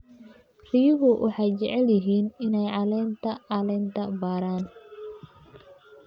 Riyuhu waxay jecel yihiin inay caleenta caleenta baaraan.